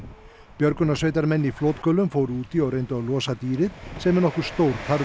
björgunarsveitarmenn í flotgöllum fóru út í og reyndu að losa dýrið sem er nokkuð stór